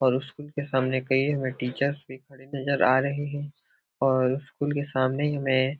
और स्कूल के सामने कई हमें टीचर्स भी खड़े नज़र आ रहे हैं और स्कूल के सामने में --